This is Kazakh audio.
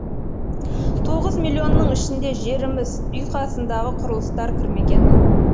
тоғыз миллионның ішіне жеріміз үй қасындағы құрылыстар кірмеген